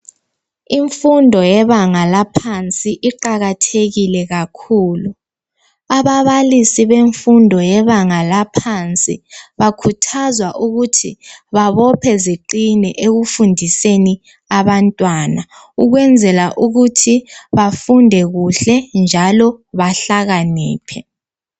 Imfundo yebanga laphansi iqakathekile kakhulu. Ababalisi bemfundo yebanga laphansi bakhuthazwa ukuthi babophe ziqine ekufundiseni abantwana ukwenzela ukuthi bafunde kuhle njalo bahlakaniphe.